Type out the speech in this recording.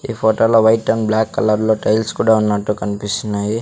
ఈ ఫోటోలో white and black colour లో టైల్స్ కూడా ఉన్నట్టు కనిపిస్తున్నాయి.